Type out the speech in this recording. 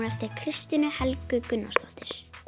eftir Kristínu Helgu Gunnarsdóttur